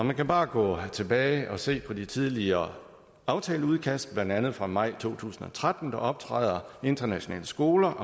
man kan bare gå tilbage og se på de tidligere aftaleudkast blandt andet fra maj to tusind og tretten optræder internationale skoler